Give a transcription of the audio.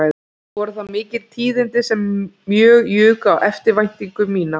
Voru það mikil tíðindi sem mjög juku á eftirvæntingu mína